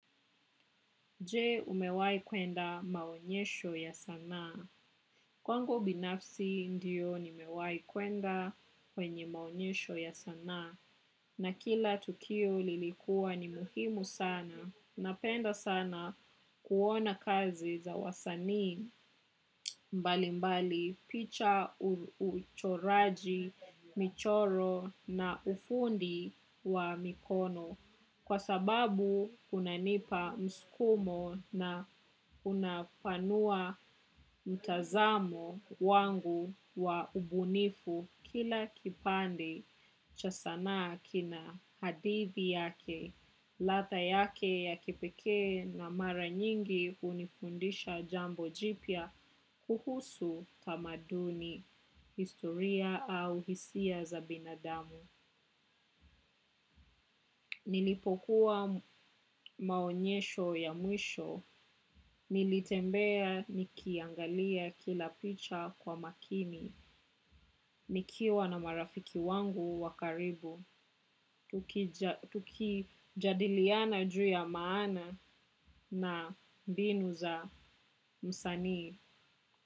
Je umewai kwenda maonyesho ya sanaa? Kwangu binafsi ndiyo nimewahi kwenda kwenye maonyesho ya sanaa. Na kila tukio lilikuwa ni muhimu sana. Napenda sana kuona kazi za wasanii mbali mbali picha, uchoraji, michoro na ufundi wa mikono. Kwa sababu unanipa msukumo na unapanua mtazamo wangu wa ubunifu kila kipande cha sanaa kina hadithi yake, ladha yake ya kipekee na mara nyingi hunifundisha jambo jipia kuhusu tamaduni, historia au hisia za binadamu. Nilipokuwa maonyesho ya mwisho, nilitembea nikiangalia kila picha kwa makini. Nikiwa na marafiki wangu wa karibu, tuki jadiliana juu ya maana na mbinu za msanii.